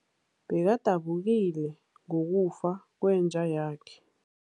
Bekadabukile ngokufa kwenja yakhe.